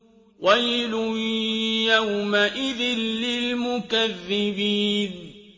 وَيْلٌ يَوْمَئِذٍ لِّلْمُكَذِّبِينَ